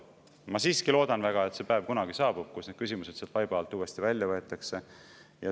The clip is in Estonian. Ma siiski loodan väga, et kunagi saabub see päev, kui need küsimused sealt vaiba alt uuesti välja võetakse.